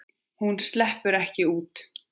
Hún sleppur ekki út.